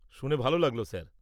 -শুনে ভালো লাগল স্যার।